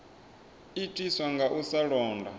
itiswa nga u sa londa